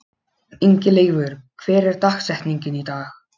Ingileifur, hver er dagsetningin í dag?